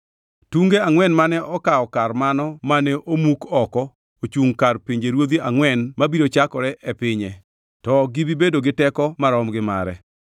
Tunge angʼwen mane okaw kar mano mane omuk oko ochungʼ kar pinjeruodhi angʼwen mabiro chakore e pinye to ok bi bedo gi teko marom gi mare.